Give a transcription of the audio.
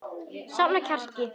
Safna kjarki.